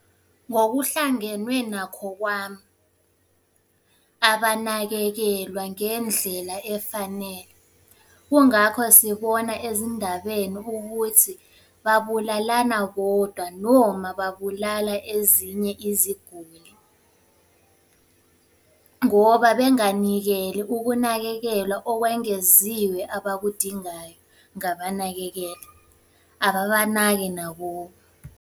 Ngokuhlangenwe nakho kwami. Abanakekelwa ngendlela efanele. Kungakho sibona ezindabeni ukuthi babulalana bodwa noma babulala ezinye iziguli, ngoba benganikeli ukunakekelwa okwengeziwe abakudingayo, ngabanakekela. Ababanaki nakubo.